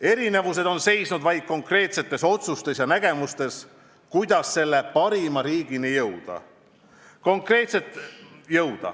Erinevused on seisnud vaid konkreetsetes otsustes ja nägemustes, kuidas selle parima riigini jõuda.